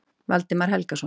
Valdimar Helgason.